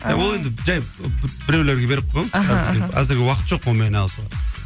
ол енді жай біреулерге беріп қойғанбыз аха аха әзірге уақыт жоқ олмен айналысуға